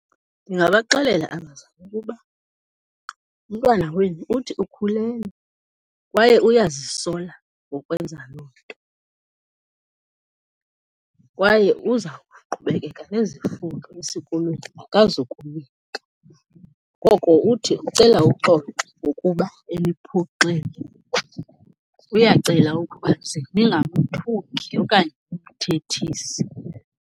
Ndingabaxelela abazali ukuba, umntwana wenu uthi ukhulelwe kwaye uyazisola ngokwenza loo nto kwaye uza kuqhubekeka nezifundo esikolweni, akazukuyeka. Ngoko uthi ucela uxolo ngokuba eniphoxile, uyacela ukuba ze ningamthuki okanye nimthethise.